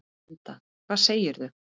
Linda: Hvað segirðu?